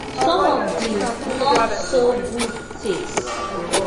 some of di not so good takes